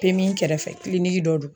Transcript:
Pemi kɛrɛfɛ kiliniki dɔ don